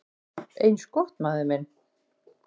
"""Eins gott, maður minn"""